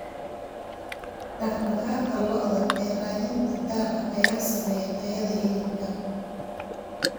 Dhaqdhaqaaqa lo'da ee raadinta daaqa ayaa saameeya tayada hilibka.